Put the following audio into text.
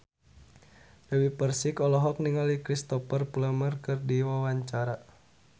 Dewi Persik olohok ningali Cristhoper Plumer keur diwawancara